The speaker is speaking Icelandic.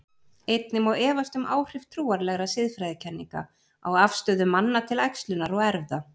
Einnig má efast um áhrif trúarlegra siðfræðikenninga á afstöðu manna til æxlunar og erfða.